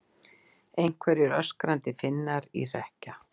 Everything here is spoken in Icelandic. Einhverjir öskrandi Finnar í hrekkja